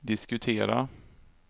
diskutera